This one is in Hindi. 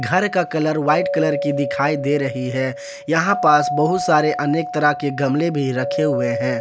घर का कलर व्हाइट कलर की दिखाई दे रही है यहां पास बहुत सारे अनेक तरह के गमले भी रखे हुए हैं।